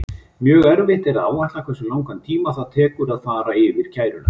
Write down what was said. Mjög erfitt er að áætla hversu langan tíma það tekur að fara yfir kæruna.